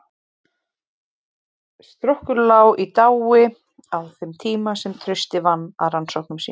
Strokkur lá í dái á þeim tíma sem Trausti vann að rannsóknum sínum.